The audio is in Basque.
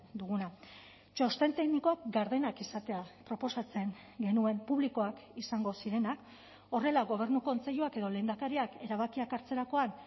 duguna txosten teknikoak gardenak izatea proposatzen genuen publikoak izango zirenak horrela gobernu kontseiluak edo lehendakariak erabakiak hartzerakoan